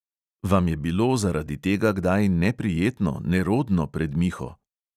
Vam je bilo zaradi tega kdaj neprijetno, nerodno pred miho?